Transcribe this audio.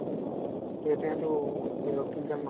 এতিয়া সেইটো কি নতুন কাম